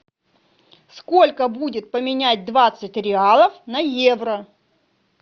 сколько будет поменять двадцать реалов на евро